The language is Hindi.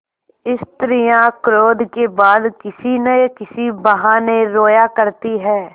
स्त्रियॉँ क्रोध के बाद किसी न किसी बहाने रोया करती हैं